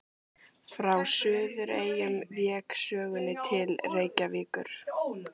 Frá Suðureyjum vék sögunni til Reykjavíkur.